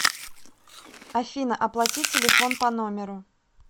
афина оплати телефон по номеру